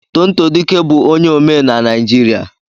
Tonto dike bụ onye omee na Naịjirịa.